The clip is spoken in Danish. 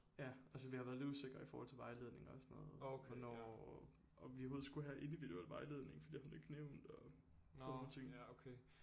Ja altså vi har været lidt usikre i forhold til vejledning og sådan noget hvornår om vi overhovedet skulle have individuel vejledning for det har hun ikke nævnt og sådan nogle ting